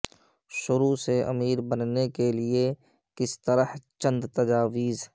شروع سے امیر بننے کے لئے کس طرح چند تجاویز